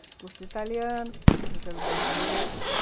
Fiz curso de italiano, italiano brasileiro.